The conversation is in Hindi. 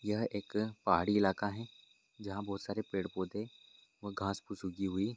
यह एक पहाड़ी इलाका है जहां बहुत सारे पेड़-पौधे और घास फूस उगी हुई ।